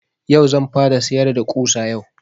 Yau zan fara sayar da ƙusa yau